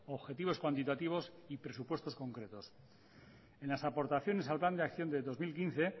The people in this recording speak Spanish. objetivos cuantitativos y presupuestos concretos en las aportaciones al plan de acción del dos mil quince